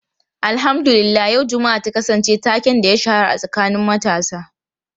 Alhamdu lillah yau Juma'a ta kasance taken da ya shahara a tsakanin matasa.